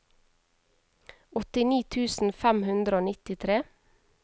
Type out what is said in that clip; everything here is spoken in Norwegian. åttini tusen fem hundre og nittitre